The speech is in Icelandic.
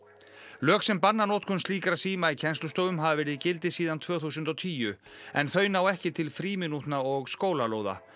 lög sem banna notkun slíkra síma í kennslustofum hafa verið í gildi síðan tvö þúsund og tíu en þau ná ekki til frímínútna og skólalóða